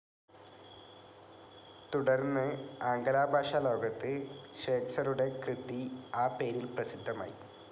തുടർന്ൻ, ആംഗലഭാഷാ ലോകത്ത് ശ്വേറ്റ്സറുടെ കൃതി ആ പേരിൽ പ്രസിദ്ധമായി.